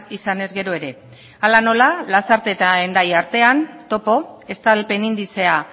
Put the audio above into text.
izanez gero ere hala nola lasarte eta hendaia artean topo estalpen indizea